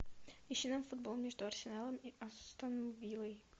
ищи нам футбол между арсеналом и астон виллой